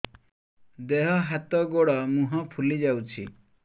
ଦେହ ହାତ ଗୋଡୋ ମୁହଁ ଫୁଲି ଯାଉଛି